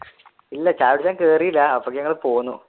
ഇല്ല ചായ കുടിക്കാൻ കേറീല അപ്പോഴത്തേക്ക് ഞങ്ങൾ പൊന്നു